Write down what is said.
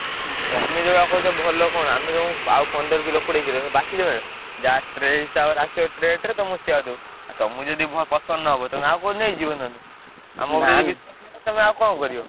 ହୁଁ ତମେ ଯୋଉଭଳିଆ କହୁଛ ଭଲ କଣ ଆମେ ତମୁକୁ ଆଉ ପନ୍ଦର କିଲୋ କୋଡିଏ କିଲୋ ବାଛିଦେବେନା ଯାହା tray ହିସାବରେ ଆସିବ rate ରେ ତମୁକୁ ସେୟା ଦବୁ। ଆଉ ତମୁକୁ ଯଦି ~ଭ ପସନ୍ଦ ନହବ ତମେ ଆଉ କୋଉଠୁ ନେଇଯିବ ନହେଲେ। ଆମ ଉପରେ ତମେ ଆଉ କଣ କରିବ?